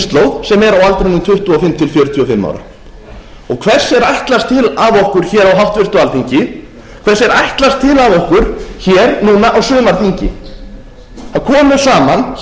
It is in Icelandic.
kynslóð sem er á aldrinum tuttugu og fimm til fjörutíu og fimm ára hvers er ætlast til af okkur hér á háttvirtu alþingi hvers er ætlast til af okkur hér núna á sumarþingi það komu saman hér á